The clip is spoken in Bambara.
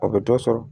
O bɛ dɔ sɔrɔ